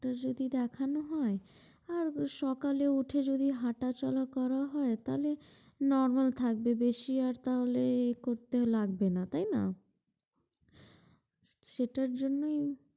Doctor যদি দেখানো হয় আর সকালে উঠে যদি হাঁটা চলা করা হয় তাহলে normal থাকবে বেশি আর তাহলে এ করতেও লাগবে না, তাই না? সেটার জন্যই,